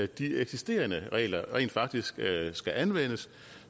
de eksisterende regler rent faktisk skal anvendes